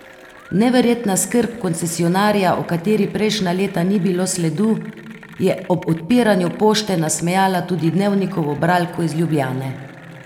Neverjetna skrb koncesionarja, o kateri prejšnja leta ni bilo sledu, je ob odpiranju pošte nasmejala tudi Dnevnikovo bralko iz Ljubljane.